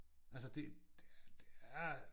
Altså det det er det er